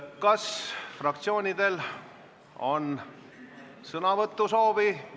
Kas fraktsioonidel on sõnavõtusoovi?